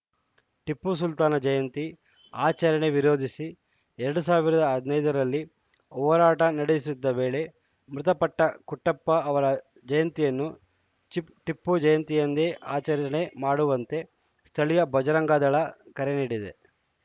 ಟಿಪ್ಪು ಸುಲ್ತಾನ ಜಯಂತಿ ಆಚರಣೆ ವಿರೋಧಿಸಿ ಎರಡ್ ಸಾವಿರದ ಹದಿನೈದ ರಲ್ಲಿ ಹೋರಾಟ ನಡೆಯುತ್ತಿದ್ದ ವೇಳೆ ಮೃತಪಟ್ಟಕುಟ್ಟಪ್ಪ ಅವರ ಜಯಂತಿಯನ್ನು ಚಿಪ್ ಟಿಪ್ಪು ಜಯಂತಿಯಂದೇ ಆಚರಣೆ ಮಾಡುವಂತೆ ಸ್ಥಳೀಯ ಬಜರಂಗದಳ ಕರೆ ನೀಡಿದೆ